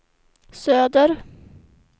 söder